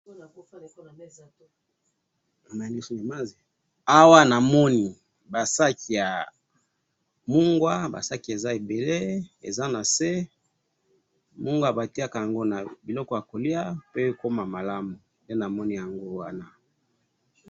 Awa namoni, ba saki ya mungwa, ba saki, ba saki eza ebele, eza na se, mungwa batiaka ango na biloko ya kolia pe ekoma malamu, nde namoni yango wana